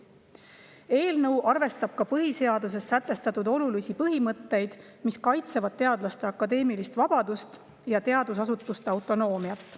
Eelnõu arvestab põhiseaduses sätestatud olulisi põhimõtteid, mis kaitsevad teadlaste akadeemilist vabadust ja teadusasutuste autonoomiat.